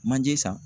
Manje san